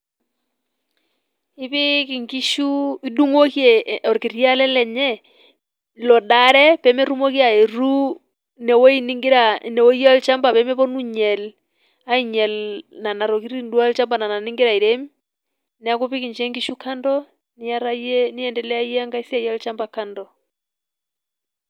Ipiik nkishu, idung'oki olkiti ale lenye lodaare peemetumoki aayetu inewueji nigira, inewueji olchamba, peemepuoni ainyal, ainyal nena tokitin duo olchamba nigira airem, neeku ipik ninche nkishu kando niyata yie, niendelea yie enkae siai olchamba.